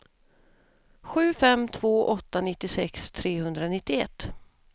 sju fem två åtta nittiosex trehundranittioett